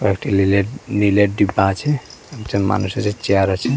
কয়েকটি লিলের নীলের ডিব্বা আছে একজন মানুষ আছে চেয়ার আছে।